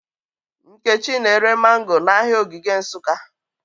Nkechi na-ere mango n'ahịa Ogige Nsụka